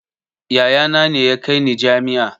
Yaya na ne ya kai ni jami'a